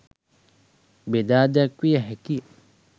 බෙදා දැක්විය හැකිය.